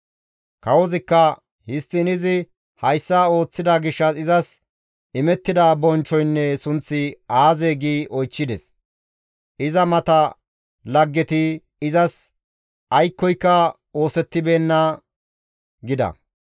Kawozikka, «Histtiin izi hayssa ooththida gishshas izas imettida bonchchoynne sunththi aazee?» gi oychchides. Iza mata laggeti, «Izas aykkoyka oosettibeenna» gida.